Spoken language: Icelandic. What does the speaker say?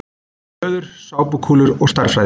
Löður: Sápukúlur og stærðfræði.